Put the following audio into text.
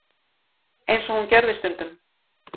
eins og hún gerði stundum.